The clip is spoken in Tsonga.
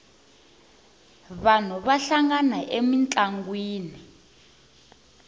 vanhu va hlangana emintlangwini